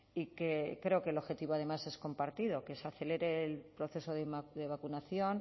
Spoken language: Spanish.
y que creo que el objetivo además es compartido que se acelere el proceso de vacunación